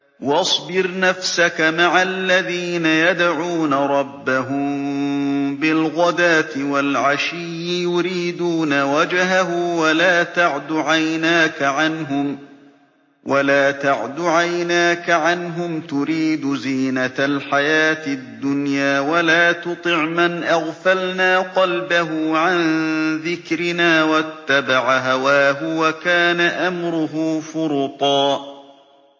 وَاصْبِرْ نَفْسَكَ مَعَ الَّذِينَ يَدْعُونَ رَبَّهُم بِالْغَدَاةِ وَالْعَشِيِّ يُرِيدُونَ وَجْهَهُ ۖ وَلَا تَعْدُ عَيْنَاكَ عَنْهُمْ تُرِيدُ زِينَةَ الْحَيَاةِ الدُّنْيَا ۖ وَلَا تُطِعْ مَنْ أَغْفَلْنَا قَلْبَهُ عَن ذِكْرِنَا وَاتَّبَعَ هَوَاهُ وَكَانَ أَمْرُهُ فُرُطًا